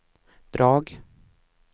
drag